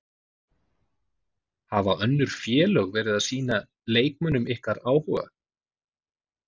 Hafa önnur félög verið að sýna leikmönnum ykkar áhuga?